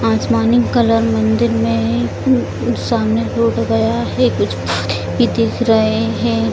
आसमानी कलर मंदिर में एए मम सामने गया है कुछ पौधे भी दिख रहे हैं।